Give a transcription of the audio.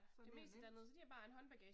Så er det jo nemt